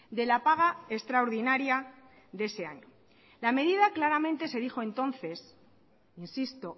de la paga extraordinaria de ese año la medida claramente se dijo entonces insisto